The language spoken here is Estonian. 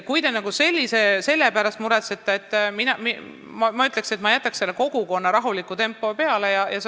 Nii et kui te selle pärast muretsete, siis ma ütlen, et ma jääksin selle rahuliku kogukonna tempo juurde.